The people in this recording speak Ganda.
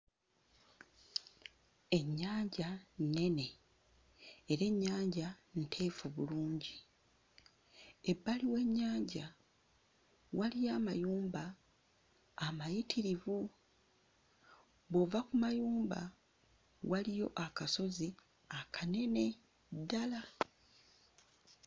Ennyanja nnene era ennyanja nteefu bulungi. Ebbali w'ennyanja waliyo amayumba amayitirivu. Bw'ova ku mayumba, waliyo akasozi akanene ddala.